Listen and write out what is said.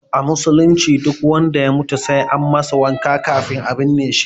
A musulunci duk wanda ya mutu sai an masa wanka kan a binne shi